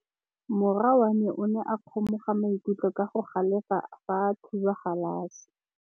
Morwa wa me o ne a kgomoga maikutlo ka go galefa fa a thuba galase.